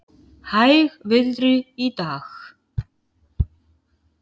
Hægviðri í dag